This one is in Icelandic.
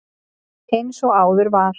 Eins og áður var